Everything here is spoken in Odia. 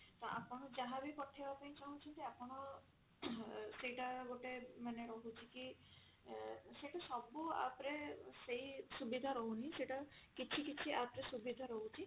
ତ ଆପଣ ଯାହା ବି ପଠେଇବା ପାଇଁ ଚାହୁଁଛନ୍ତି ଆପଣ ସେଇଟା ଗୋଟେ ମାନେ ରହୁଛି କି ଅ ସେଟା ସବୁ app ରେ ସେଇ ସୁବିଧା ରହୁନି ସେଇଟା କିଛି କିଛି app ରେ ସୁବିଧା ରହୁଛି